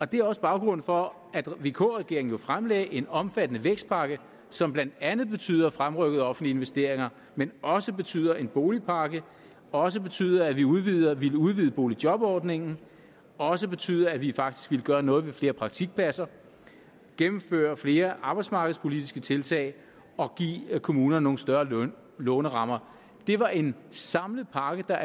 det er også baggrunden for at vk regeringen jo fremlagde en omfattende vækstpakke som blandt andet betyder fremrykkede offentlige investeringer men også betyder en boligpakke også betyder at vi udvider vi udvider boligjobordningen og også betyder at vi faktisk vil gøre noget med flere praktikpladser gennemføre flere arbejdsmarkedspolitiske tiltag og give kommunerne nogle større lånerammer det var en samlet pakke der